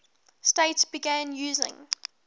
states began using